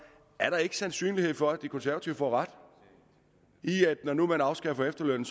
er der ikke sandsynlighed for at de konservative får ret i at når nu man afskaffer efterlønnen